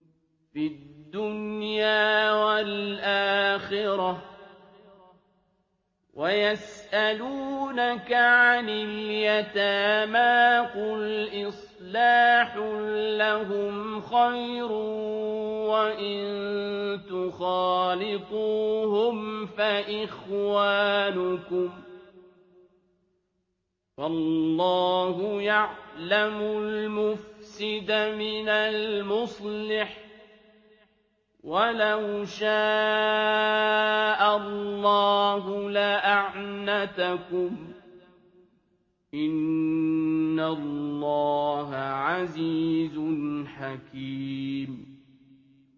فِي الدُّنْيَا وَالْآخِرَةِ ۗ وَيَسْأَلُونَكَ عَنِ الْيَتَامَىٰ ۖ قُلْ إِصْلَاحٌ لَّهُمْ خَيْرٌ ۖ وَإِن تُخَالِطُوهُمْ فَإِخْوَانُكُمْ ۚ وَاللَّهُ يَعْلَمُ الْمُفْسِدَ مِنَ الْمُصْلِحِ ۚ وَلَوْ شَاءَ اللَّهُ لَأَعْنَتَكُمْ ۚ إِنَّ اللَّهَ عَزِيزٌ حَكِيمٌ